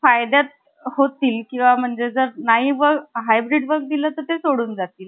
आई व वडीलबंधू या आश्रमात आतापर्यंत आले नव्हते. एकोणविशे दोन मध्ये, कर्वे यांचे वडीलबंधू आणि त्यांच्या वृद्ध मातोश्री पंढरपूरच्या,